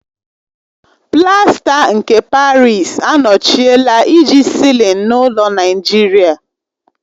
Plaster nke Parịsi anọchiela iji sịlin n'ụlọ Naijiria.